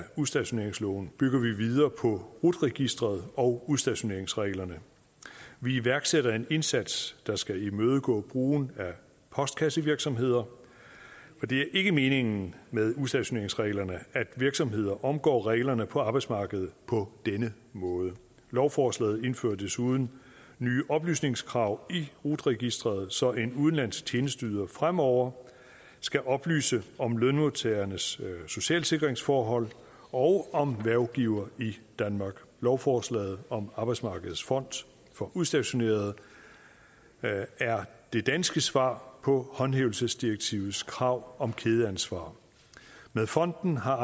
udstationeringsloven bygger vi videre på rut registeret og udstationeringsreglerne vi iværksætter en indsats der skal imødegå brugen af postkassevirksomheder for det er ikke meningen med udstationeringsreglerne at virksomheder omgår reglerne på arbejdsmarkedet på denne måde lovforslaget indfører desuden nye oplysningskrav i rut registeret så en udenlandsk tjenesteyder fremover skal oplyse om lønmodtagernes socialsikringsforhold og om hvervgiver i danmark lovforslaget om arbejdsmarkedets fond for udstationerede er det danske svar på håndhævelsesdirektivets krav om kædeansvar med fonden har